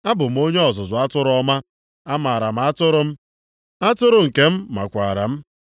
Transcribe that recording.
“Abụ m onye ọzụzụ atụrụ ọma; amaara m atụrụ m, atụrụ nke m makwaara m.